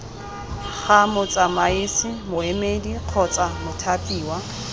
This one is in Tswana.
ga motsamaisi moemedi kgotsa mothapiwa